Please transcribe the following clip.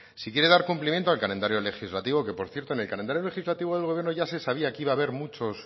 si quiere dar cumplimiento al calendario legislativo que por cierto en el calendario legislativo del gobierno ya se sabía que iba a haber muchos